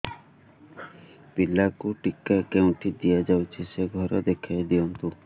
ପିଲାକୁ ଟିକା କେଉଁଠି ଦିଆଯାଉଛି ସେ ଘର ଦେଖାଇ ଦିଅନ୍ତୁ